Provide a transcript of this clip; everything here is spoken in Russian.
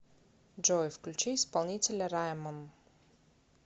джой включи исполнителя раймон